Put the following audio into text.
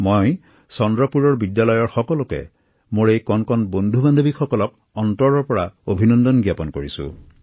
মই চন্দ্ৰপুৰৰ স্কুলখনৰ শিক্ষাৰ্থীসকলক অন্তৰৰ নিভৃত কোণৰ পৰা অভিনন্দন জনাইছো